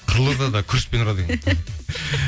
қызылордада күрішпен ұрады екен